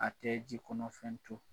A tɛ ji kɔnɔ fɛn to.